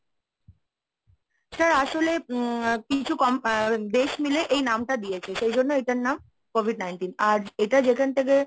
sir আসলে উম কিছু দেশ মিলে এই নামটা দিয়েছে সেই জন্য এটার নাম COVID nineteen আর এটা যেখান থেকে,